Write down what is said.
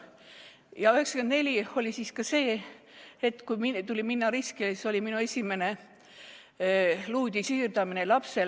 1994 oli ka see aasta, et kui tuli võtta risk – see oli minu esimene luuüdi siirdamine lapsele.